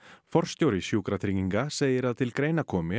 forstjóri Sjúkratrygginga segir að til greina komi